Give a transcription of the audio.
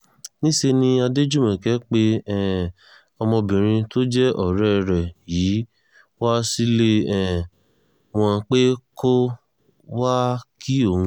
níṣẹ́ ni adéjùmọ̀kẹ̀ pe um ọmọbìnrin tó jẹ́ ọ̀rẹ́ rẹ̀ yìí wá sílé um wọn pé kó wáá kí òun